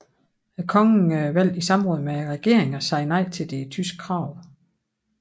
Kongen valgte i samråd med regeringen at sige nej til de tyske krav